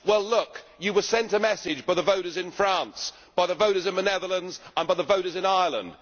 Well, look you were sent a message by the voters in France, by the voters in the Netherlands and by the voters in Ireland.